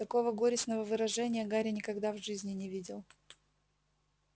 такого горестного выражения гарри никогда в жизни не видел